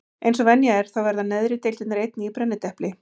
Eins og venja er þá verða neðri deildirnar einnig í brennidepli.